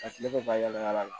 A tile bɛ bayɛlɛma yaala la